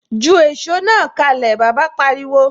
Ju èsó náà kalẹ! Bàbá pariwo.